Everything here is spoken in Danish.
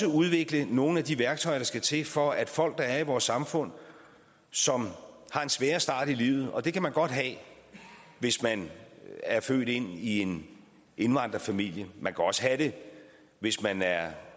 udvikle nogle af de værktøjer der skal til for at folk der er i vores samfund som har en sværere start i livet og det kan man godt have hvis man er født ind i en indvandrerfamilie man kan også have det hvis man er